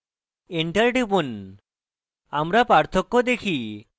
enter টিপুন আমরা পার্থক্য দেখি